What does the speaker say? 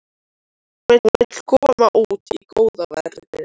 Hún vill komast út í góða veðrið.